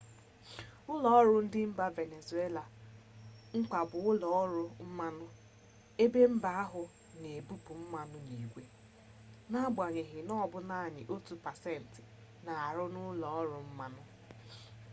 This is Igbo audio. ụlọọrụ dị mba venezuela mkpa bụ ụlọọrụ mmanụ ebe mba ahụ na ebupụ mmanụ n'igwe n'agbanyeghị na ọ bụ naanị otu pasentị na-arụ n'ụlọọrụ mmanụ